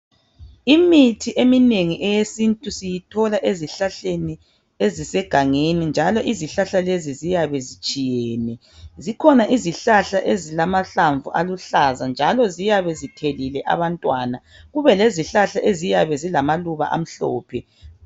Imithi eminengi eyesintu siyithola ezihlahleni ezisegangeni njalo izihlahla lezi ziyabe zitshiyene zikhona izihlahla ezilamahlamvu aluhlaza njalo ziyabe zithelile abantwana kube lezihlahla eziyabe zilama Luba amhlophe